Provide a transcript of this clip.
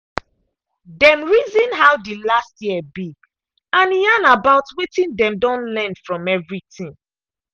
dem reason how the last year be and yarn about wetin dem don learn from everything.